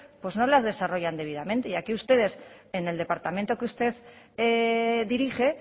pues no las desarrollan debidamente y aquí ustedes en el departamento que usted dirige